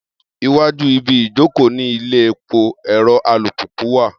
Iwájú ibi ìjókòó ni ilé epo ẹ̀rọ alùpùpù wà